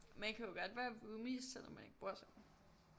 Man kan jo godt være roomies selvom man ikke bor sammen